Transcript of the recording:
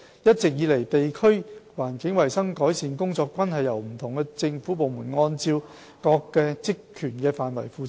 一直以來，地區環境衞生改善工作均由不同政府部門按各自的職權範圍負責。